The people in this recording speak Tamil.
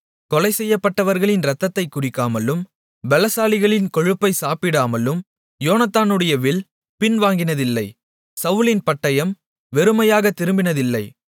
கொலைசெய்யப்பட்டவர்களின் இரத்தத்தைக் குடிக்காமலும் பெலசாலிகளின் கொழுப்பை சாப்பிடாமலும் யோனத்தானுடைய வில் பின்வாங்கினதில்லை சவுலின் பட்டயம் வெறுமையாகத் திரும்பினதில்லை